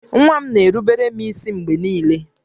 Nwa m na-erubere m ísí mgbe niile